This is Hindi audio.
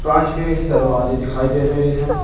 कांच के दरवाजे दिखाई दे रहे हैं।